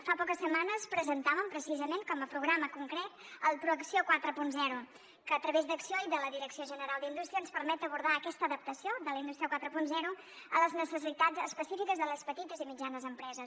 fa poques setmanes presentàvem precisament com a programa concret el proacció quaranta que a través d’acció i de la direcció general d’indústria ens permet abordar aquesta adaptació de la indústria quaranta a les necessitats específiques de les petites i mitjanes empreses